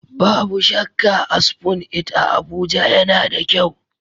Babu shakka, a Spoon It a Abuja, yana da kyau.